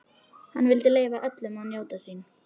Hann vildi leyfa öllum að njóta sín.